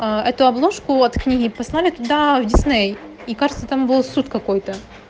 это обложку от книги прислали туда в дисней и кажется там был суд какой-то